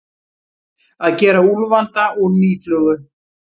Að gera úlfalda úr mýflugu